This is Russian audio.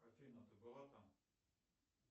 афина ты была там